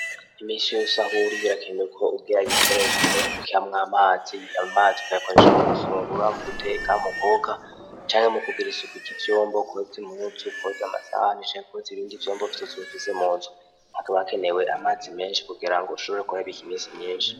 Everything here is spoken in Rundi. Imishi yusahuri birakenewe ko ugira ibikoresho kamwo amazi amazi ukayakoresha mu gufungura mu guteka mu koka canke mu kugiraisauku iki vyombo kouzi muzi ukoza amasahanisha yakozi bindi vyombo vtosobufise mu nzu hakabakenewe amazi menshi kugira ngo ushobore kuyabika imisi myinshi.